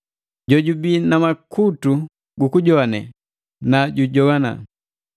“Jojubii na makutu gukujowane nu jujoana!